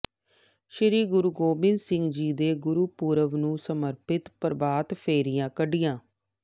ਸ਼੍ਰੀ ਗੁਰੂ ਗੋਬਿੰਦ ਸਿੰਘ ਜੀ ਦੇ ਗੁਰਪੁਰਬ ਨੂੰ ਸਮਰਪਿਤ ਪ੍ਰਭਾਤ ਫੇਰੀਆਂ ਕੱਢੀਆਂ